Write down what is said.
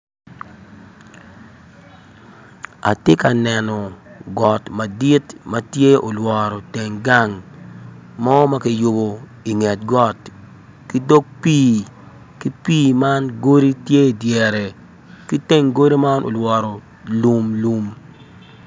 Atye ka neno got madit ma olworo teng gang mo ma kiyubo i nget got ki dog pii ki pii man godi tye i dyere ki teng godi man olworo lum lum